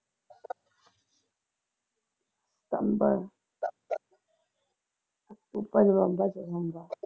ਸਤੰਬਰ ਅਕਤੂਬਰ ਨਵੰਬਰ ਵਿਚ ਮੰਗਾ